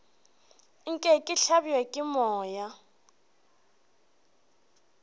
nke ke hlabje ke moya